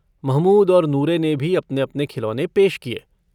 महमूद और नूरे ने भी अपने अपने खिलौने पेश किये।